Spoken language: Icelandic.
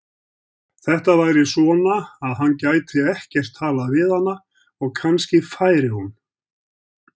Þetta væri svona, að hann gæti ekkert talað við hana og kannski færi hún.